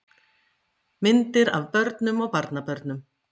Myndir af börnum og barnabörnum.